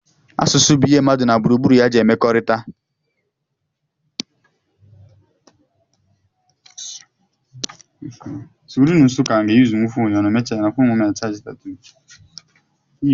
Asụsụ bụ ihe mmadụ na gburugburu ya ji emekọrịta